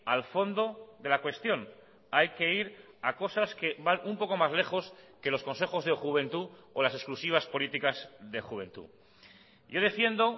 al fondo de la cuestión hay que ir a cosas que van un poco más lejos que los consejos de juventud o las exclusivas políticas de juventud yo defiendo